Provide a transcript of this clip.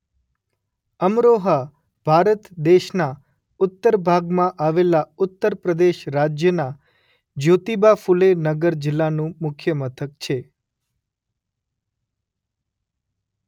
અમરોહા ભારત દેશના ઉત્તર ભાગમાં આવેલા ઉત્તર પ્રદેશ રાજ્યના જ્યોતિબા ફુલે નગર જિલ્લાનું મુખ્ય મથક છે.